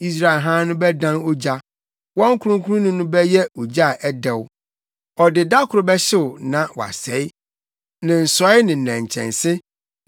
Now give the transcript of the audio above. Israel Hann no bɛdan ogya. Wɔn Kronkronni no bɛyɛ ogya a ɛdɛw; ɔde da koro bɛhyew na wasɛe ne nsɔe ne nnɛnkyɛnse.